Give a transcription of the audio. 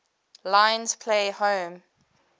lions play home